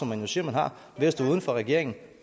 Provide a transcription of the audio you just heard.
man jo siger man har ved at stå uden for regeringen